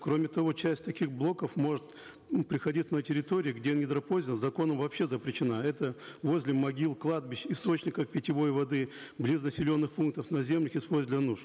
кроме того часть таких блоков может м приходиться на территории где недропользование законом вообще запрещена это возле могил кладбищ источников питьевой воды близ населенных пунктов наземных используют для нужд